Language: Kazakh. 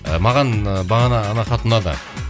ы маған ы бағана ана хат ұнады